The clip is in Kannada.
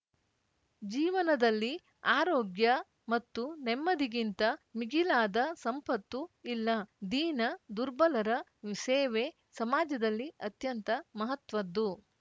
ಜೀವನದಲ್ಲಿ ಆರೋಗ್ಯ ಮತ್ತು ನೆಮ್ಮದಿಗಿಂತ ಮಿಗಿಲಾದ ಸಂಪತ್ತು ಇಲ್ಲ ದೀನ ದುರ್ಬಲರ ಸೇವೆ ಸಮಾಜದಲ್ಲಿ ಅತ್ಯಂತ ಮಹತ್ವದ್ದು